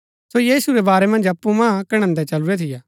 सो यीशु रै बारै मन्ज अप्पु मां कणैदैं चलुरै थियै